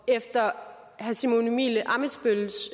efter herre simon emil ammitzbølls